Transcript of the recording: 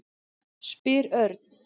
spyr Örn.